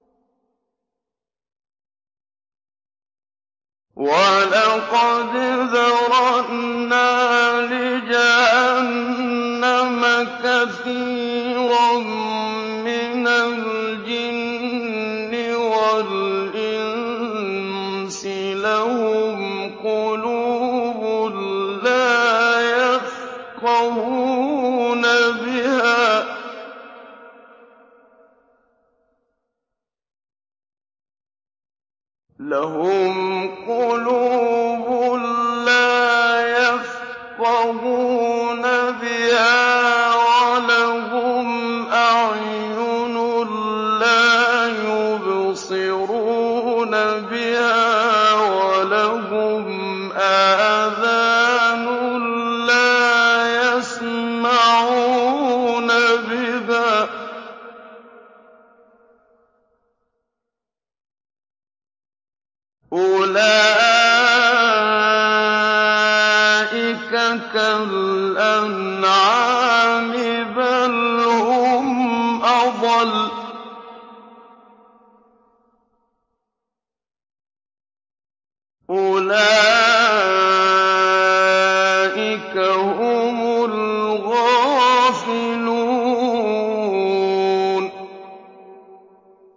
وَلَقَدْ ذَرَأْنَا لِجَهَنَّمَ كَثِيرًا مِّنَ الْجِنِّ وَالْإِنسِ ۖ لَهُمْ قُلُوبٌ لَّا يَفْقَهُونَ بِهَا وَلَهُمْ أَعْيُنٌ لَّا يُبْصِرُونَ بِهَا وَلَهُمْ آذَانٌ لَّا يَسْمَعُونَ بِهَا ۚ أُولَٰئِكَ كَالْأَنْعَامِ بَلْ هُمْ أَضَلُّ ۚ أُولَٰئِكَ هُمُ الْغَافِلُونَ